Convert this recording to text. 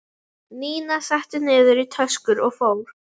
Nína setti niður í töskur og fór.